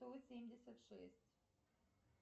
сто семьдесят шесть